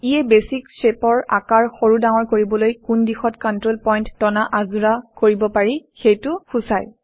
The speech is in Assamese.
ইয়ে বেছিক শ্বেপৰ আকাৰ সৰু ডাঙৰ কৰিবলৈ কোন দিশত কণ্ট্ৰল পইণ্ট টনা আঁজোৰা কৰিব পাৰি সেইটো সূচায়